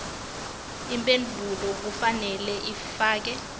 imphendvulo kufanele ifakwe